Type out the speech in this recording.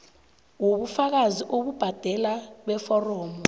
wobufakazi bokubhadela beforomo